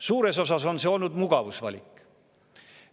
Suures osas on see olnud mugavusvalik.